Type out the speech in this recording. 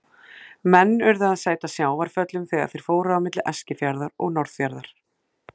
Menn urðu að sæta sjávarföllum þegar þeir fóru á milli Eskifjarðar og Norðfjarðar.